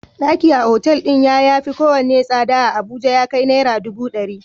Ɗaki a otal din ya yafi kowane tsada a Abuja ya kai Naira dubu dari.